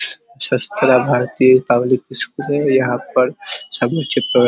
public school है यहाँ पर सब बच्चे --